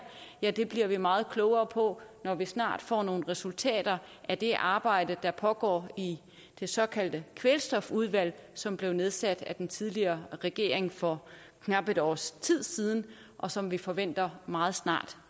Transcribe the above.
ja det bliver vi meget klogere på når vi snart får nogle resultater af det arbejde der pågår i det såkaldte kvælstofudvalg som blev nedsat af den tidligere regering for knap et års tid siden og som vi forventer meget snart